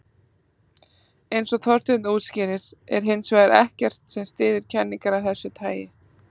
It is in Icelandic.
Eins og Þorsteinn útskýrir er hins vegar ekkert sem styður kenningar af þessu tagi.